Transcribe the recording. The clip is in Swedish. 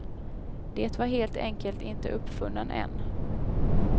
Det var helt enkelt inte uppfunnen än.